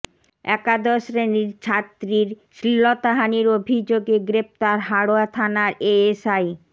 একাদশ শ্রেণির ছাত্রীর শ্লীলতাহানির অভিযোগে গ্রেফতার হাড়োয়া থানার এএসআই